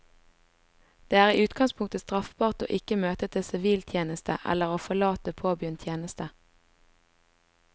Det er i utgangspunktet straffbart å ikke møte til siviltjeneste eller å forlate påbegynt tjeneste.